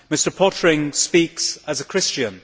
Mr Pöttering speaks as a Christian.